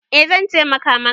Eh zan taimaka maka.